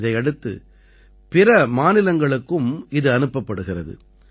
இதையடுத்து பிற மாநிலங்களுக்கும் இது அனுப்பப்படுகிறது